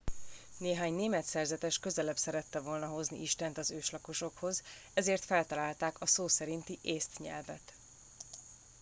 néhány német szerzetes közelebb szerette volna hozni istent az őslakosokhoz ezért feltalálták a szó szerinti észt nyelvet